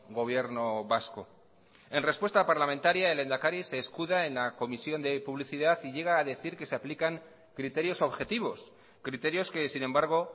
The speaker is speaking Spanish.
gobierno vasco en respuesta parlamentaria el lehendakari se escuda en la comisión de publicidad y llega a decir que se aplican criterios objetivos criterios que sin embargo